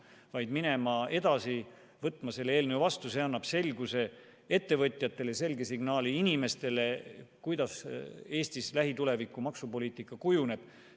Kutsun üles minema edasi ja võtma selle eelnõu vastu – see annab selguse ettevõtjatele, annab selge signaali inimestele, milliseks Eestis lähituleviku maksupoliitika kujuneb.